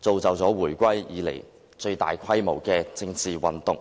造就了回歸以來最大規模的政治運動。